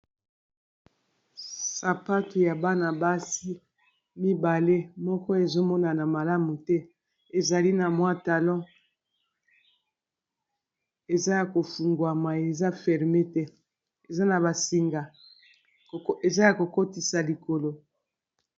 Sapato ya bana-basi mibale moko ezomonana malamu te, ezali na mwa talon eza ya kofungwamai eza ferme te eza na basinga eza ya kokotisa likolo